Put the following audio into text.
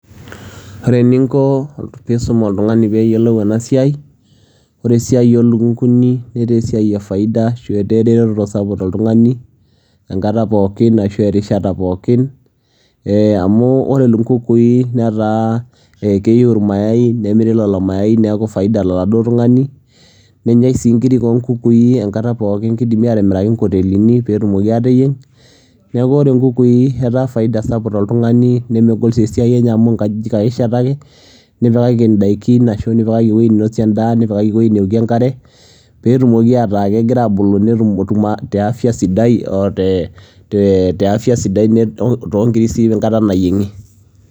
Wore eninko pii isum oltungani peeyolu enasiai, wore esiai oolukunguni netaa esiai ee faida ashua esiai eretoto sapuk tooltungani enkata pookin ashu erishata pookin eeh amu wore ilkunguni netaa keyiu irmayayai nemiri lelo mayayi niaku faida toladuo tungani nenyai sii inkirik oo inkukui enkata pookin kidimi atimiraki inkotelinj peetumoki aateyieng. Niaku wore inkukui netaa faida sapuk tooltungani nemegol sii esiai enye amu inkajijik ake ishaetaki nipikaki indaikin ashu nipikaki eweji ninosie endaa ,nipikaki eweji newokie enkare peetumoki ataa kegiraa abulu nitumoki teeafya sidai oo tee eefya sidai oo toongiri sii enkata nayiengi.